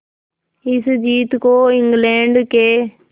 इस जीत को इंग्लैंड के